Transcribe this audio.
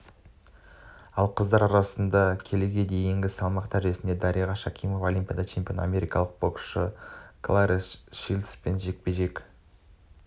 ал қыздар арасындағы келіге дейінгі салмақ дәрежесінде дариға шакимова олимпиада чемпионы америка боксшысы кларесс шилдспен жекпе-жекке